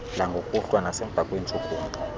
langokuhlwa nasemva kweentshukumo